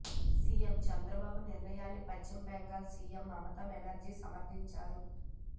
CM Chandrababu నిర్ణయాన్ని Paschim Bengal CM Mamata Banerjee సమర్థించారు